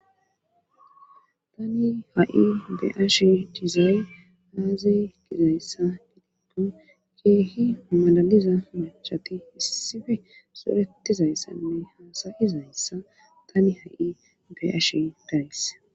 tani ha7i be7ashi dizay aaze gizayssa gidikko keehi malaliza macati issife zoretizayssanne haasayizayssa tani ha7i be7ashe dayis